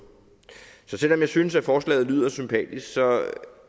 så selv om jeg synes at forslaget lyder sympatisk så